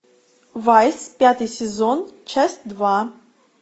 вайс пятый сезон часть два